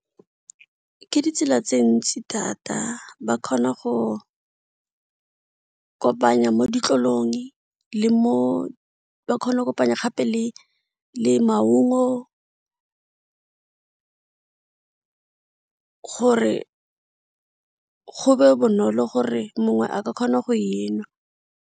Ke ditsela tse ntsi thata, ba kgona go kopanya mo ditlolong ba kgona go kopanya gape le maungo gore go be bonolo gore mongwe a ka kgona go e nwa.